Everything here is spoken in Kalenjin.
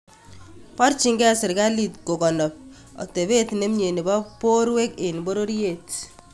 Porchinkei sirkalit kogonop otepeet nemyee nepo porweek en pororyeet